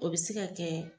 O bɛ se ka kɛ